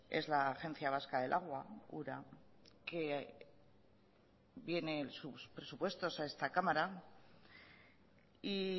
es la agencia vasca del agua ura que viene sus presupuestos a esta cámara y